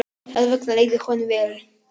Þess vegna leið honum vel.